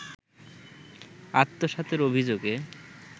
আত্মসাতের অভিযোগে